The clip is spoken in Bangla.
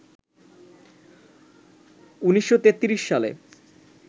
১৯৩৩ সালে